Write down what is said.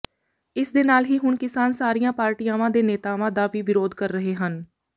ਇਸਦੇ ਨਾਲ ਹੀ ਹੁਣ ਕਿਸਾਨ ਸਾਰੀਆਂ ਪਾਰਟੀਆਂ ਦੇ ਨੇਤਾਵਾਂ ਦਾ ਵੀ ਵਿਰੋਧ ਕਰ ਰਹੇ ਹਨ